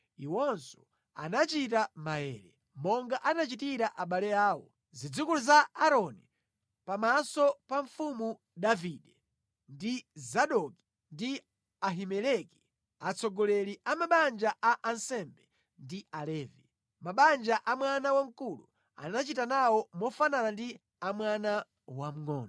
Iwonso anachita maere, monga anachitira abale awo, zidzukulu za Aaroni, pamaso pa mfumu Davide, ndi Zadoki ndi Ahimeleki, atsogoleri a mabanja a ansembe ndi Alevi. Mabanja a mwana wamkulu anachita nawo mofanana ndi a mwana wamngʼono.